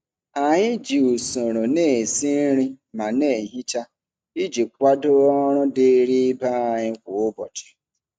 Anyị ji usoro na-esi nri ma na-ehicha ihe iji kwado ọrụ dịịrị ibe anyị kwa ụbọchị.